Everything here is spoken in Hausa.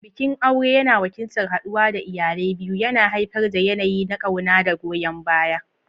Bikin aure yana wakiltar haɗuwa da iyalai biyu, yana haifar da yanayi na ƙauna da goyon baya.